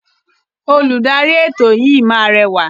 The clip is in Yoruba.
Oludari eto yii ma burẹwa.